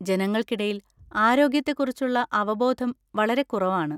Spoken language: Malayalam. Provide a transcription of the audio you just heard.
ജനങ്ങൾക്കിടയിൽ ആരോഗ്യത്തെക്കുറിച്ചുള്ള അവബോധം വളരെ കുറവാണ്.